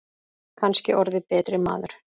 Kannski orðið betri maður.